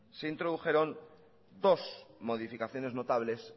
se introdujeron dos modificaciones notables